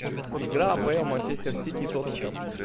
игра апл манчестер сити тоттенхэм